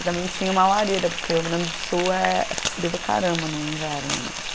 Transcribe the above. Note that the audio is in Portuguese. E também tinha uma lareira, porque o Rio Grande do Sul é frio para caramba no inverno, né?